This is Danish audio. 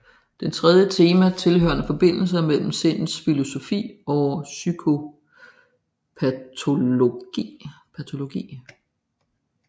Det tredje tema vedrører forbindelserne mellem sindets filosofi og psykopatologi